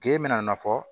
K'e bɛna a nafɔ